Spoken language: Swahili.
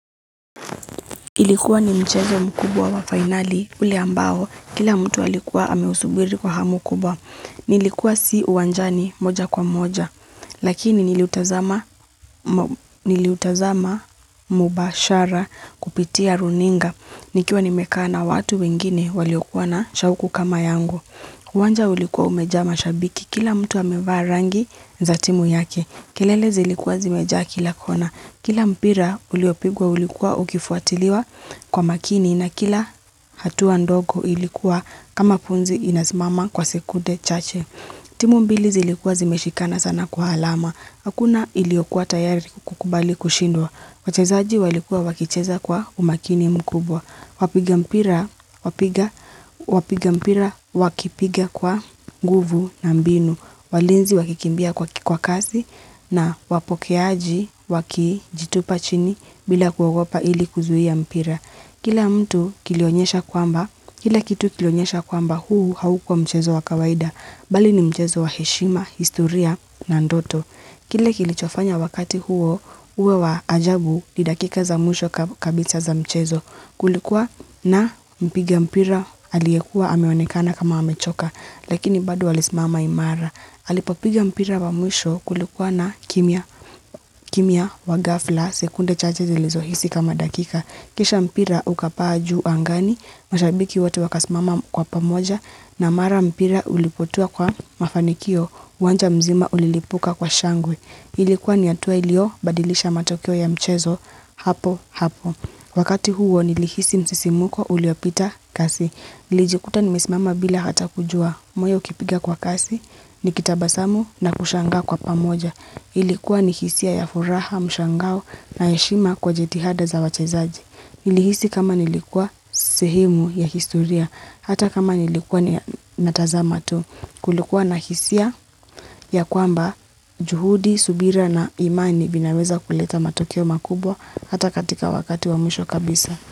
Ilikuwa ni mchezo mkubwa wa finali ule ambao, kila mtu alikuwa ame usubiri kwa hamu kubwa. Nilikuwa si uanjani moja kwa moja, lakini niliutazama mubashara kupitia runinga. Nikiwa nimeka na watu wengine waliokuwa na shauku kama yangu. Uwanja ulikuwa umeja mashabiki, kila mtu amevaa rangi za timu yake. Kelele zilikuwa zimeja kila kona. Kila mpira uliopigwa ulikuwa ukifuatiliwa kwa makini na kila hatuwa ndogo ilikuwa kama pumzi inazimama kwa sekude chache. Timu mbili zilikuwa zime shikana sana kwa alama. Hakuna iliokuwa tayari kukubali kushindwa. Wachezaji walikuwa wakicheza kwa umakini mkubwa. Wapiga mpira wakipiga kwa nguvu na mbinu. Walinzi wakikimbia kwa kikwakazi na wapokeaji wakijitupa chini bila kuwagopa ili kuzuhia mpira. Kila mtu kilionyesha kwamba, kile kitu kilionyesha kwamba huu haukua mchezo wa kawaida, bali ni mchezo wa heshima, historia na ndoto. Kile kilichofanya wakati huo, uwe wa ajabu ni dakika za mwisho kabiza za mchezo. Kulikuwa na mpiga mpira aliekuwa ameonekana kama hamechoka, lakini bado alisimama imara. Halipopiga mpira wa mwisho kulikuwa na kimia wa gafla sekunde chache zilizo hisi kama dakika. Kisha mpira ukapaa juu angani, mashabiki watu wakasmama kwa pamoja na mara mpira ulipotua kwa mafanikio, uwanja mzima ulilipuka kwa shangwe. Ilikuwa ni atuwa ilio badilisha matokeo ya mchezo hapo hapo. Wakati huo nilihisi msisimuko uliopita kasi. Nilijikuta nimesimama bila hata kujua moyo kipiga kwa kasi nikitabasamu na kushanga kwa pamoja ilikuwa nihisia ya furaha mshangao na yeshima kwa jetihada za wachezaji ilihisi kama nilikuwa sehemu ya historia hata kama nilikuwa natazama tu kulikuwa na hisia ya kwamba juhudi, subira na imani vinaweza kuleta matokeo makubwa hata katika wakati wa mwisho kabisa.